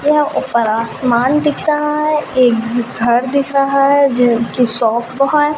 यह ऊपर आसमान दिख रहा है एक घर दिख रहा है शॉप वो है।